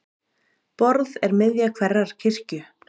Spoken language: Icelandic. Borð er miðja hverrar kirkju.